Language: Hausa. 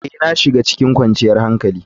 Ee, na shiga cikin kwanciyar hankali.